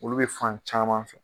Olu bɛ fan caman fɛ.